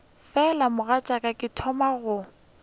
fela mogatšaka ke thoma go